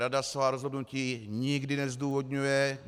Rada svá rozhodnutí nikdy nezdůvodňuje.